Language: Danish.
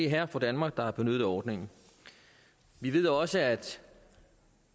herre og fru danmark der har benyttet ordningen vi ved også at